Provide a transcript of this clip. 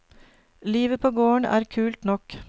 Livet på gården er kult nok.